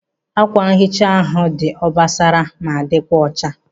Ákwànhicha ahụ dị obosara ma dịkwa ọcha.